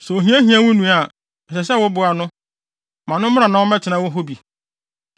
“ ‘Sɛ ohia hia wo nua a, ɛsɛ sɛ woboa no; ma no mmra ma ɔmmɛtena hɔ bi.